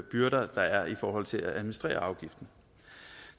byrder der er i forhold til at administrere afgiften